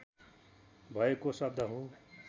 भएको शब्द हो